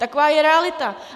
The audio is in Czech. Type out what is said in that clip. Taková je realita!